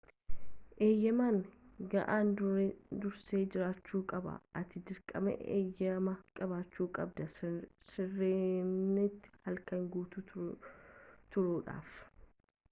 eeyyamni ga'aan dursee jiraachuu qabaa ati dirqama eeyyama qabaachuu qabda sirenatti halkan guutuu turuudhaaf